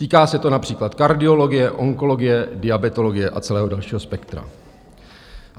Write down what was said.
Týká se to například kardiologie, onkologie, diabetologie a celého dalšího spektra.